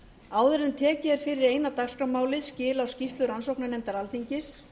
áður en tekið er fyrir eina dagskrármálið skil á skýrslu rannsóknarnefndar alþingis